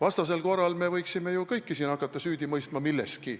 Muidu me võiksime ju hakata kõiki milleski süüdi mõistma.